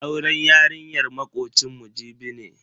Auren yarinyar makocinmu Jibi ne.